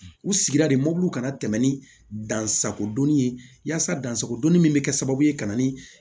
U sigira de mobili kana tɛmɛ ni dansakodɔnni ye yasa dansakodɔnni min bɛ kɛ sababu ye ka na ni